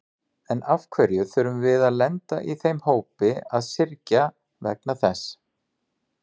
En af hverju þurfum við að lenda í þeim hópi að syrgja vegna þess?